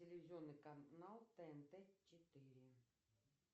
телевизионный канал тнт четыре